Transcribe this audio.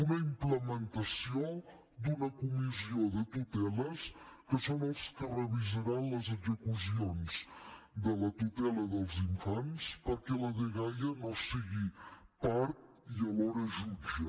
una implementació d’una comissió de tuteles que són els que revisaran les execucions de la tutela dels infants perquè la dgaia no en sigui part i alhora jutge